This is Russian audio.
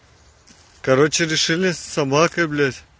короче решили с собакой блять